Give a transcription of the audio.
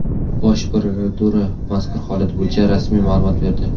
Bosh prokuratura mazkur holat bo‘yicha rasmiy ma’lumot berdi .